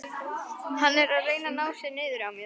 Hann er að reyna að ná sér niðri á mér.